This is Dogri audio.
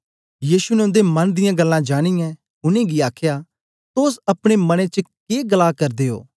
यीशु ने उन्दे मन दियां गल्लां जानियें उनेंगी आखया तोस अपने मनें च के गल्लां करा करदे ओ